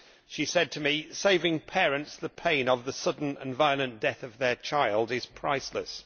She told me that saving parents the pain of the sudden and violent death of their child is priceless'.